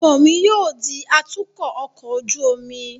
Ọmọ mi yóò di atukọ ọkọ ojú omi